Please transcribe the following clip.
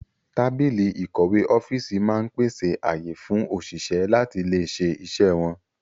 Tábìlì ìkọ̀wé ọ́fíìsì máa ń pèsè ààyè fún òṣìṣẹ́ láti lè ṣe iṣẹ́ wọn